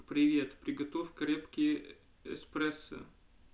привет приготовь крепкий эспрессо